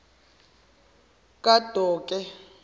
kadoke